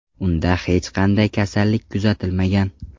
Unda hech qanday kasallik kuzatilmagan.